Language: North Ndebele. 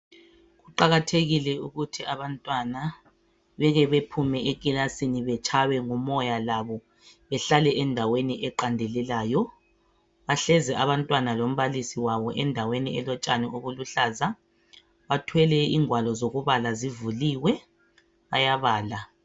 Kuqakathekile ukuthi abantwana beke bephume ekilasini betshaywe ngumoya labo behlale endaweni eqandelelayo bahlezi abantwana lombalisi wabo endaweni elotshani obuluhlaza bathwele ingwalo zokubala zivuliwe bayabala.